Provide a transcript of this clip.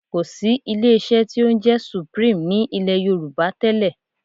Kò sí ilé-iṣẹ́ tí ó ń jẹ́ Supreme ní ilẹ̀ Yorùbá tẹ́lẹ̀